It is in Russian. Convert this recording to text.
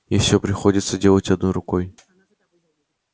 и всё приходится делать одной рукой